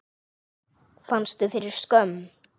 Fannstu fyrir skömm?